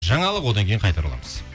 жаңалық одан кейін қайта ораламыз